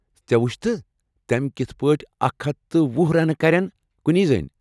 ژےٚ وُچھتھٕ تٔم کتھہٕ پٲٹھۍ اکھ ہتھَ تہٕ وُہ رنہٕ کَریٚن کُنی زٔنۍ ۔